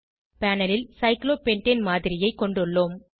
panel ல் cyclopentane மாதிரியைக் கொண்டுள்ளோம்